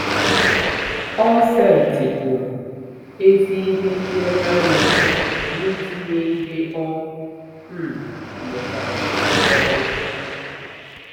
O setịpụrụ ezi ihe nlereanya n'itinye ihe ọ um mụtara n'ọrụ